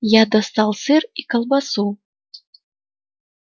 я достал сыр и колбасу